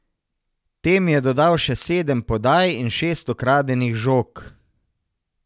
Tem je dodal še sedem podaj in šest ukradenih žog.